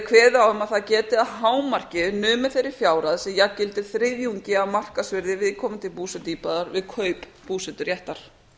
kveðið á um að það geti að hámarki numið þeirri fjárhæð sem jafngildir þriðjungi af markaðsvirði viðkomandi búsetuíbúðar við kaup búseturéttar